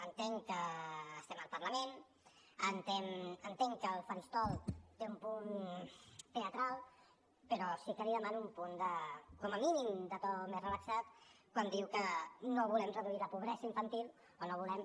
entenc que estem al parlament entenc que el faristol té un punt teatral però sí que li demano un punt com a mínim de to més relaxat quan diu que no volem reduir la pobresa infantil o no volem